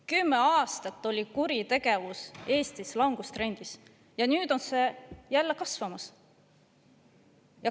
Kümme aastat oli kuritegevus Eestis langustrendis ja nüüd on see jälle kasvamas.